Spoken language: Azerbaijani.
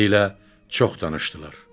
Beləliklə çox danışdılar.